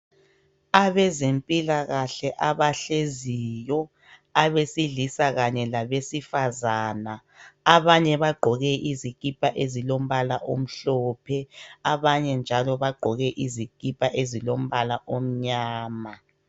Abezempilakahle abahleziyo, abesilisa labesifazana, abanye bagqoke izikipa ezilombala omhlophe abanye njalo bagqoke izikipa ezilombala omnyama